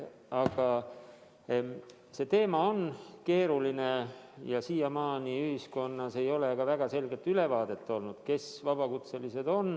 Aga see teema on keeruline ja siiamaani ei ole ühiskonnas olnud väga selget ülevaadet, kes on vabakutselised.